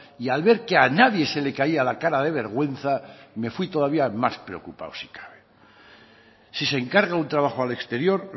y al ver que a nadie se le caía la cara de vergüenza me fui todavía más preocupado si cabe si se encarga un trabajo al exterior